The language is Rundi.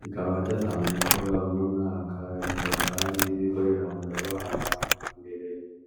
rikaba ryatanguye gukora uno mwaka rikaba kandi ririko riramura abana mbere.